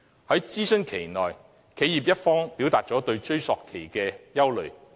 在諮詢期間，企業一方表達了對追溯期的憂慮。